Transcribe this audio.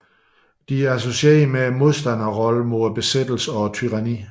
De er associeret med modstanderrollen mod besættelse og tyranni